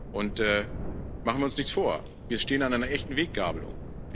Und machen wir uns nichts vor, wir stehen an einer echten Weggabelung.